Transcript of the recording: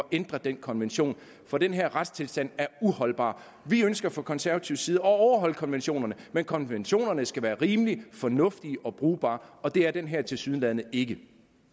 ændret den konvention for den her retstilstand er uholdbar vi ønsker fra konservatives side at overholde konventionerne men konventionerne skal være rimelige fornuftige og brugbare og det er den her tilsyneladende ikke